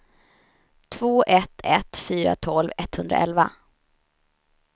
två ett ett fyra tolv etthundraelva